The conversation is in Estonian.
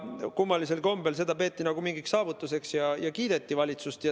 Kummalisel kombel peeti seda nagu mingiks saavutuseks ja kiideti valitsust.